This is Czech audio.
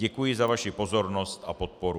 Děkuji za vaši pozornost a podporu.